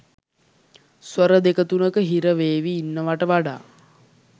ස්වර දෙක තුනක හිර වේවි ඉන්නවට වඩා